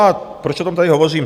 A proč o tom tady hovořím?